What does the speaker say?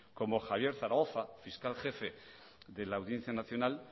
como javier zaragoza fiscal jefe de la audiencia nacional